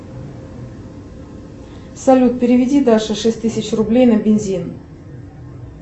салют переведи даше шесть тысяч рублей на бензин